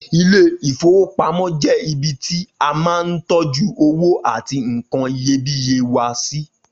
Ilé-ìfowópamó jẹ́ ibi tí a máa ń tọ́jú owó àti nkan iyebíye wa sí.